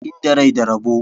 Inda rai da rabo.